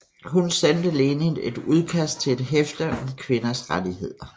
Hun sendte Lenin et udkast til et hæfte om kvinders rettigheder